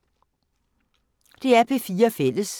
DR P4 Fælles